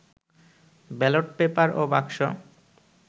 ballot paper ও বাক্স